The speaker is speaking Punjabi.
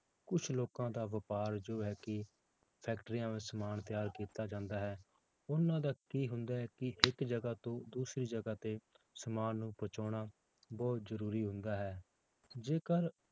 ਕੁਛ ਲੋਕਾਂ ਦਾ ਵਾਪਾਰ ਜੋ ਹੈ ਕਿ ਫੈਕਟਰੀਆਂ ਵਿੱਚ ਸਮਾਨ ਤਿਆਰ ਕੀਤਾ ਜਾਂਦਾ ਹੈ, ਉਹਨਾਂ ਦਾ ਕੀ ਹੁੰਦਾ ਹੈ ਕਿ ਇੱਕ ਜਗ੍ਹਾ ਤੋਂ ਦੂਸਰੀ ਜਗ੍ਹਾ ਤੇ ਸਮਾਨ ਪਹੁੰਚਾਉਣਾ ਬਹੁਤ ਜ਼ਰੂਰੀ ਹੁੰਦਾ ਹੈ ਜੇਕਰ